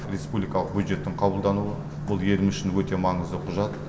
республикалық бюджеттің қабылдануы бұл еліміз үшін өте маңызды құжат